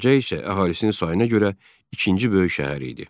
Gəncə isə əhalisinin sayına görə ikinci böyük şəhər idi.